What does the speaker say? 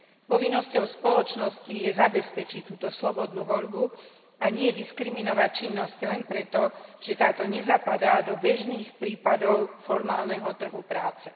Povinnosťou spoločnosti je zabezpečiť túto slobodnú voľbu a nie diskriminovať činnosť len preto, že nezapadá do bežných prípadov formálneho trhu práce.